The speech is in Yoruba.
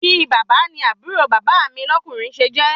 Bi bàbá ni àbúrò bàbá mi lọ́kùnrin se jẹ́